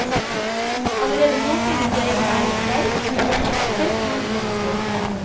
Allerede nå synes jeg den er litt treig, men den hadde appell til unge mennesker.